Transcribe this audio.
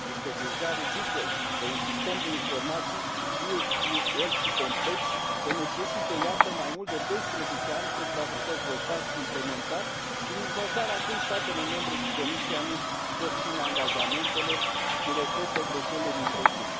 Este deja ridicol că un sistem de informații, fie el și complex, să necesite, iată, mai mult de 12 ani pentru a fi dezvoltat și implementat și nici măcar acum statele membre și Comisia nu își pot ține angajamentele și repetă greșelile din trecut.